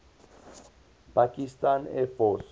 pakistan air force